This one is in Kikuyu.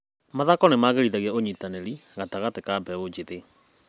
Mathako magĩrithagia ũnyitanĩri gatagatĩ ka mbeũ njĩthĩ.